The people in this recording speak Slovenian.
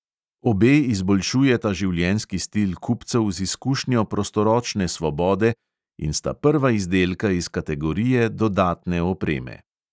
Obe izboljšujeta življenjski stil kupcev z izkušnjo prostoročne svobode in sta prva izdelka iz kategorije dodatne opreme.